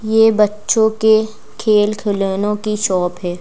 ये बच्चों के खेल खिलौने की शॉप है।